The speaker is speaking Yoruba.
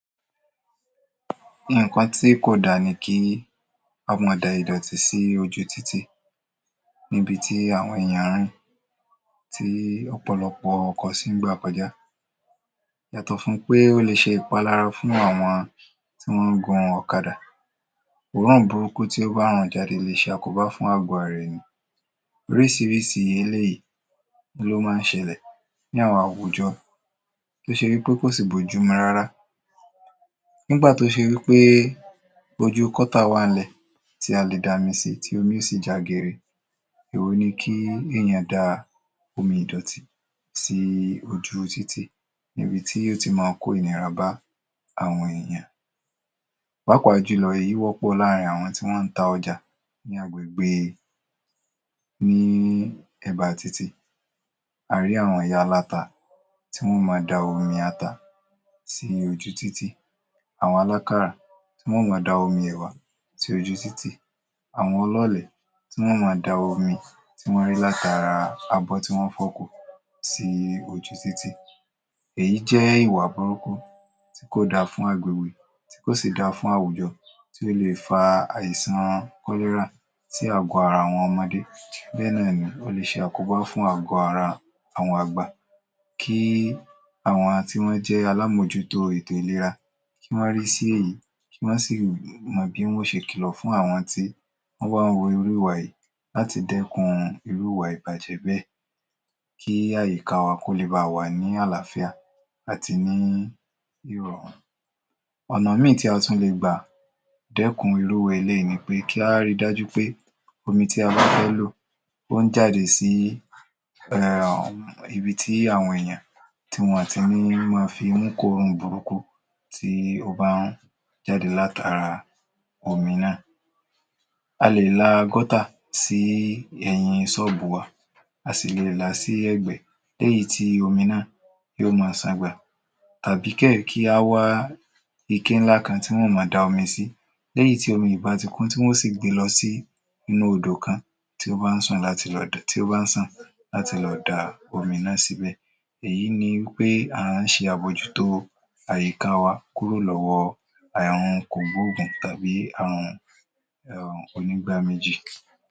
Nǹkan tí kò da ni kí a máa da ìdọ̀tí sí ojú títì níbi tí àwọn èèyàn ń rìn ttí ọ̀pọ̀lọpọ̀ ọkọ̀ sì ń gbà kọjá. Yàtọ̀ fún pé ó lè ṣe ìpalára fún àwọn tí wọ́n ń gun ọ̀kadà, òòrún burúkú tí ó bá rùn jáde lè ṣe àkóbá fún àgò ara ènìyàn. Oríṣiríṣi eléyìí ló máa ń ṣẹlẹ̀ ní àwọn àwùjọ tó ṣe wí pé kò sì b’ójú mu rárá. Nígbà tó ṣe wí pé ojú kọ́tà wà ńlẹ̀ tí a lè da omi sí tí omi ó sì já geere. Èwo ni kí èèyàn da omi ìdọ̀tí sí ojú títì níbi tí yó ti máa kó ìnira bá àwọn èèyàn, pàápàá jùlọ èyí wọ́pọ̀ láàrin àwọn tí wọ́n ń ta ọjà ní agbègbè ní ẹ̀ba títì a rí àwọn ìyá aláta tí wọ́n máa ń da omi ata sí ojú títì, àwọn alákàrà tí wọn ó máa da omi ẹ̀wà sí ojú títì, àwọn ọlọ́ọ̀lẹ̀ tí wọn ó máa da omi tí wọ́n rí látara abọ́ tí wọ́n fọ̀ sí ojú títì. Èyí jẹ́ ìwà burúkú tí kò da fún tí kò sì da fún àwùjọ tí ó lè fa àìsàn kọ́lẹ́rà sí àgọ ara àwọn ọmọdé bẹ́ẹ̀ náà ni ó lè ṣe àkóbá fún àgọ ara àwọn àgbà. Kí àwọn àti wọn jẹ́ alámòjútó ètò ìlera, kí wọ́n rí sí èyí kí wọ́n sì mọ̀ bí wọ́n ó ṣe kìlọ̀ fún àwọn tí wọ́n bá ń wu irú ìwà yìí láti dẹ́kun iruú ìwà ìbàjẹ́ bẹ́ẹ̀ kí àyíká wa kó lè ba wà ní àláfíà àti ní ìrọ̀rùn. ọ̀nà míì tí a tún le gbà dẹ́kun irú eléyìí ni pé kí á ri dájú pé omi tí a bá fẹ́ lò ó ń jáde sí um ibi tí àwọn èèyàn tí wọn ò ti ni máa fi’mú kóòrùn burúkú tí ó bá ń jáde látara omi náà. A lè la gutter sí ẹ̀yìn ṣọ́ọ̀bù wa a sì lè là á sí ẹ̀gbẹ́ léyìí tí omi náà yóò máa ṣàn gbà tàbí kẹ́yìn kí á wá ike ńlá kan tí wọ́n ó máa da omi sí. Lẹ́yìn tí omi yìí bah ti kún tí wọ́n ó sì gbe lọ sí inú odò kan tí ó bá ń ṣàn láti lọ da omi náà síbẹ̀. Èyí ni wí pé à ń ṣe àbójútó àyíká wa kúrò lọ́wọ́ ààrùn kò gbóògùn tàbí àrùn um onígbáméjì.